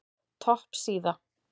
Topp síða